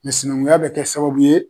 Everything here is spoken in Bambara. Sinankunya be kɛ sababu ye